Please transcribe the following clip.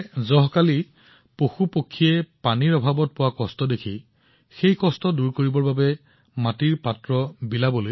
বন্ধুসকল মুপাট্টম শ্ৰী নাৰায়ণন জীয়ে মাটিৰ পাত্ৰ বিতৰণ কৰাৰ বাবে এটা অভিযান চলাই আছে যাতে গ্ৰীষ্মকালত পশু আৰু চৰাইবোৰৰ খোৱা পানীৰ কোনো সমস্যাৰ সন্মুখীন নহয়